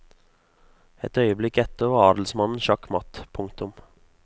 Et øyeblikk etter var adelsmannen sjakk matt. punktum